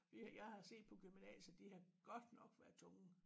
Vi jeg har set på gymnasiet de har godt nok været tunge